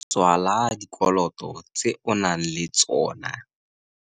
Tswala dikoloto tse o nang le tsona.